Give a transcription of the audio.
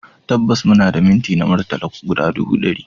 Tabbas muna da minti na murtala guda ɗubu ɗari